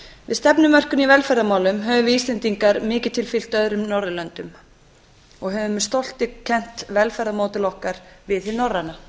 við stefnumörkun í velferðarmálum höfum við íslendingar mikið til fylgt öðrum norðurlöndum og höfum með stolti kennt velferðarmódel okkar við hið norræna